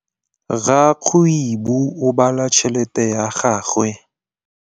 Rakgwêbô o bala tšheletê ya gagwe.